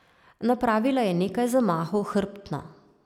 Napravila je nekaj zamahov hrbtno.